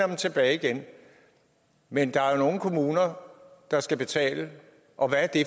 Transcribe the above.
dem tilbage igen men der er nogle kommuner der skal betale og hvad er det